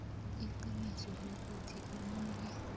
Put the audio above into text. iqiniso lokuthi omunye